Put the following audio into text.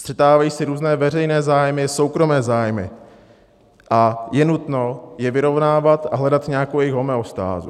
Střetávají se různé veřejné zájmy, soukromé zájmy a je nutno je vyrovnávat a hledat nějakou jejich homeostázu.